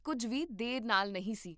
ਕੁੱਝ ਵੀ ਦੇਰੀ ਨਾਲ ਨਹੀਂ ਸੀ